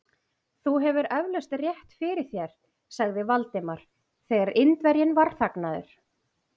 Þú hefur eflaust rétt fyrir þér sagði Valdimar, þegar Indverjinn var þagnaður.